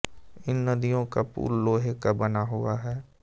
इन नदियों का पुल लोहे का बना हुआ है